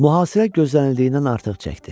Mühasirə gözlənildiyindən artıq çəkdi.